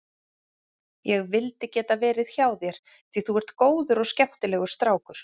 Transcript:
Ég vildi geta verið hjá þér því þú ert góður og skemmtilegur strákur.